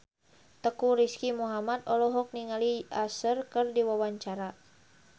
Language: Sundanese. Teuku Rizky Muhammad olohok ningali Usher keur diwawancara